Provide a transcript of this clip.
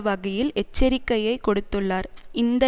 வகையில் எச்சரிக்கையை கொடுத்துள்ளார் இந்த